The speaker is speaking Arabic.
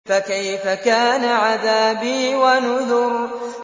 فَكَيْفَ كَانَ عَذَابِي وَنُذُرِ